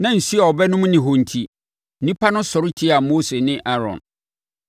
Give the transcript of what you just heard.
Na nsuo a wɔbɛnom nni hɔ enti, nnipa no sɔre tiaa Mose ne Aaron.